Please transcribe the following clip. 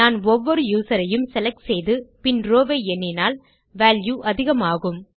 நான் ஒவ்வொரு யூசர் ஐயும் செலக்ட் செய்து பின் ரோவ் ஐ எண்ணினால் வால்யூ அதிகமாகும்